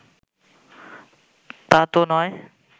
তা তো নয়